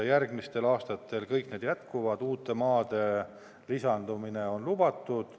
Järgmistel aastatel kõik need jätkuvad, uute maade lisandumine on lubatud.